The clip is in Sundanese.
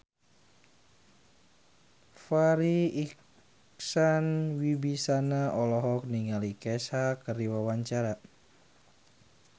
Farri Icksan Wibisana olohok ningali Kesha keur diwawancara